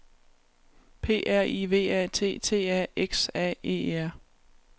P R I V A T T A X A E R